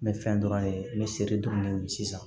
N bɛ fɛn dɔrɔn ye n bɛ sere dɔɔni min sisan